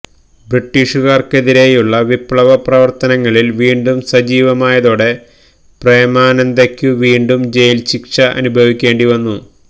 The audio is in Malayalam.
ബ്രിട്ടീഷുകാർക്കെതിരെയുള്ള വിപ്ലവ പ്രവർത്തനങ്ങളിൽ വീണ്ടും സജീവമായതൊടെ പ്രേമാനന്ദയ്ക്കു വീണ്ടും ജയിൽ ശിക്ഷ അനുഭവിക്കേണ്ടി വന്നു